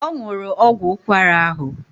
Ọ nwụrụ ọgwụ ụkwara ahụ